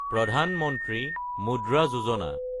প্ৰধান মন্ত্ৰী মুদ্ৰা যোজনা